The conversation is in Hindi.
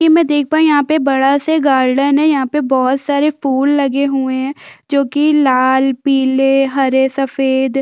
कि मै देख पाई यहाँ पे बड़ा सा गार्डन है यहाँ पे बहोत सारे फूल लगे हुए है जो की लाल पिले हरे सफेद--